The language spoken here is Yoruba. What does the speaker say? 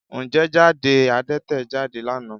Ǹjẹ́ jáde Adẹ́tẹ̀ jáde lánàá?